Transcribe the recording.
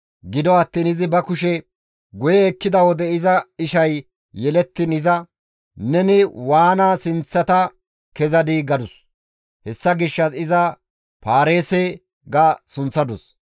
Gido attiin izi ba kushe guye ekkida wode iza ishay yelettiin iza, «Neni waana sinththata kezadii!» gadus. Hessa gishshas iza Paareese ga sunththadus.